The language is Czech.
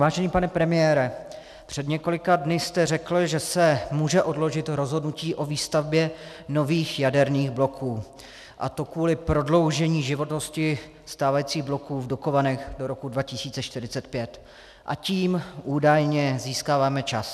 Vážený pane premiére, před několika dny jste řekl, že se může odložit rozhodnutí o výstavbě nových jaderných bloků, a to kvůli prodloužení životnosti stávajících bloků v Dukovanech do roku 2045, a tím údajně získáváme čas.